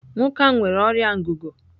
Nwoke ahụ nwere ọrịa ngụgụ.